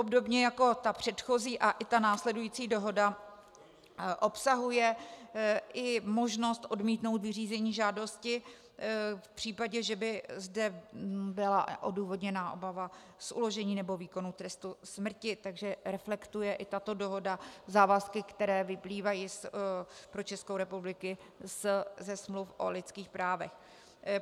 Obdobně jako ta předchozí a i ta následující dohoda obsahuje i možnost odmítnout vyřízení žádost v případě, že by zde byla odůvodněná obava z uložení nebo výkonu trestu smrti, takže reflektuje i tato dohoda závazky, které vyplývají pro Českou republiku ze smluv o lidských právech.